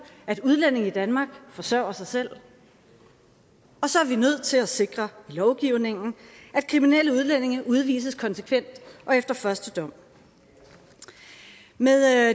at udlændinge i danmark forsørger sig selv og så er vi nødt til at sikre i lovgivningen at kriminelle udlændinge udvises konsekvent og efter første dom med